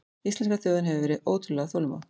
Íslenska þjóðin hefur verið ótrúlega þolinmóð